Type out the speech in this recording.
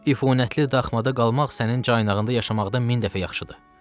İfunətli dağmada qalmaq sənin caynağında yaşamaqdan min dəfə yaxşıdır.